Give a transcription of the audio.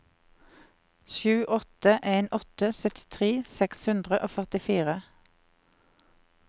sju åtte en åtte syttitre seks hundre og førtifire